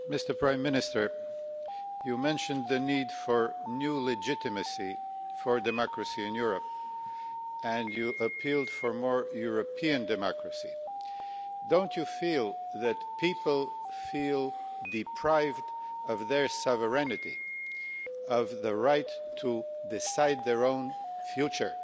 Mr President, I would like to address the Prime Minister. You mentioned the need for new legitimacy for democracy in Europe and you appealed for more European democracy. Don't you feel that people feel deprived of their sovereignty, of the right to decide their own future?